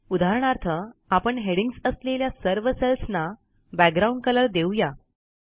उदाहरणार्थ आपण हेडिंग्ज असलेल्या सर्व सेल्सना बॅकग्राउंड Colourदेऊ या